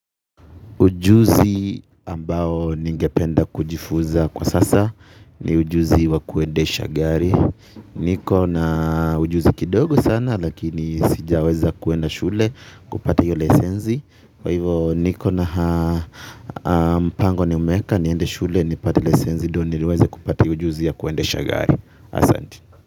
Ujuzi ambao ningependa kujifuza kwa sasa ni ujuzi wa kuedesha gari. Niko na ujuzi kidogo sana lakini sijaweza kuenda shule kupata yule senzi. Kwa hivyo niko na mpango nimeweka niende shule nipate ile senzi ndio niliweze kupata hii ujuzi ya kuendesha gari.